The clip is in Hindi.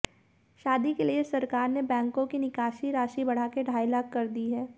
शादी के लिए सरकार ने बैंको की निकासी राशि बढ़ाकर ढ़ाई लाख कर दी है